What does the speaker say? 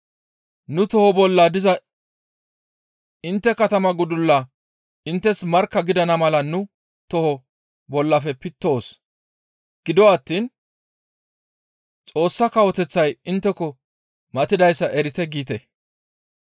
‹Nu toho bolla diza intte katamaa gudullaa inttes markka gidana mala nu toho bollafe pittoos; gido attiin Xoossa Kawoteththay intteko matidayssa erite› giite.